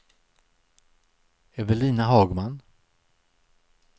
Evelina Hagman